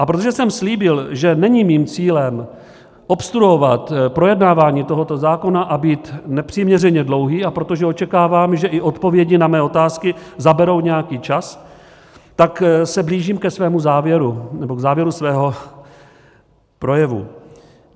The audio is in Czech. A protože jsem slíbil, že není mým cílem obstruovat projednávání tohoto zákona a být nepřiměřeně dlouhý, a protože očekávám, že i odpovědi na mé otázky zaberou nějaký čas, tak se blížím ke svému závěru nebo k závěru svého projevu.